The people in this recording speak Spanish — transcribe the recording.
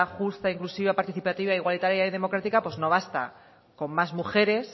justa inclusiva participativa igualitaria y democrática pues no basta con más mujeres